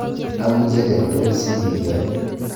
Am mchelek tugul sibiyony.